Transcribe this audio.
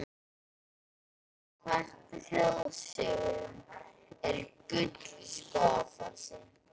Samkvæmt þjóðsögu er gull í Skógafossi.